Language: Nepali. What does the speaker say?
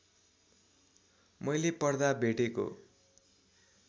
मैले पढ्दा भेटेको